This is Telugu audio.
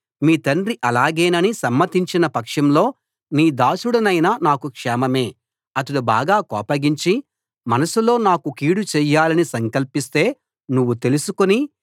మీ తండ్రి అలాగేనని సమ్మతించిన పక్షంలో నీ దాసుడనైన నాకు క్షేమమే అతడు బాగా కోపగించి మనసులో నాకు కీడు చేయాలని సంకల్పిస్తే నువ్వు తెలుసుకుని